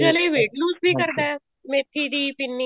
ਇਹ weight lose ਵੀ ਕਰਦਾ ਮੇਥੀ ਦੀ ਪਿੰਨੀ